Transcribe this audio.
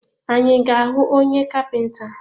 Anyị ga ahụ onye kapinta?